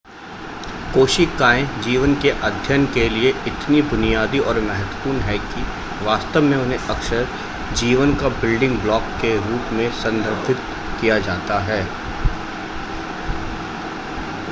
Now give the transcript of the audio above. कोशिकाएं जीवन के अध्ययन के लिए इतनी बुनियादी और महत्वपूर्ण हैं कि वास्तव में उन्हें अक्सर जीवन का बिल्डिंग ब्लॉक के रूप में संदर्भित किया जाता है